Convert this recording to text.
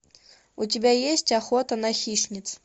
у тебя есть охота на хищниц